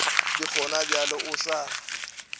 le gona bjale o sa